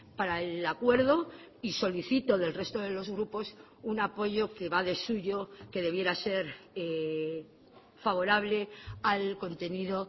para el acuerdo y solicito del resto de los grupos un apoyo que va de suyo que debiera ser favorable al contenido